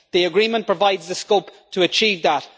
The agreement provides the scope to achieve that.